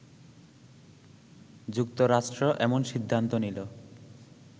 যুক্তরাষ্ট্র এমন সিদ্ধান্ত নিলো